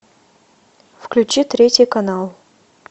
включи третий канал